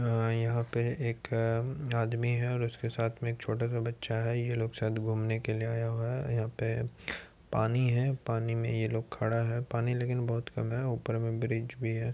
अअअ यहाँ पे एक अम्म्म आदमी है और उसके साथ में एक छोटा सा बच्चा है। ये लोग शायद घूमने के लिए आया हुआ है। यहाँ पे पानी है पानी में ये लोग खड़ा हैपानी लेकिन बहुत कम है ऊपर में ब्रिज भी है।